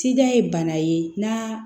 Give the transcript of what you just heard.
Sida ye bana ye n'a